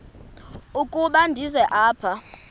ukuba ndize apha